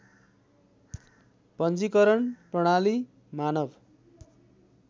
पञ्जिकरण प्रणाली मानव